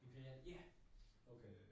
Imperial? Ja! Okay